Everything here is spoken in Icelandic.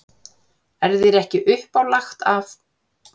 Er þér ekki uppálagt af